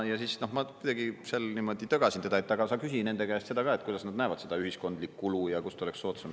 Ja siis ma kuidagi seal niimoodi tögasin teda, et aga sa küsi nende käest seda ka, et kuidas nad näevad seda ühiskondlikku kulu ja kust oleks soodsam.